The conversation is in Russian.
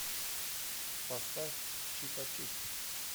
поставь чипачип